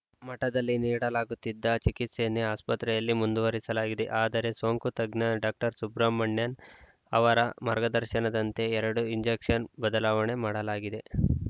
ಮಠದಲ್ಲಿ ನೀಡಲಾಗುತ್ತಿದ್ದ ಚಿಕಿತ್ಸೆಯನ್ನೇ ಆಸ್ಪತ್ರೆಯಲ್ಲಿ ಮುಂದುವರೆಸಲಾಗಿದೆ ಆದರೆ ಸೋಂಕು ತಜ್ಞ ಡಾಕ್ಟರ್ ಸುಬ್ರಮಣ್ಯನ್‌ ಅವರ ಮಾರ್ಗದರ್ಶನದಂತೆ ಎರಡು ಇಂಜೆಕ್ಷನ್‌ ಬದಲಾವಣೆ ಮಾಡಲಾಗಿದೆ